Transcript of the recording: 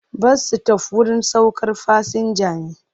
Bas-sitof wurin saukar fasinja ne.